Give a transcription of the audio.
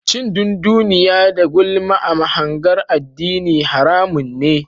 Cin dunduniya da gulma a mahangar addini haramun ne.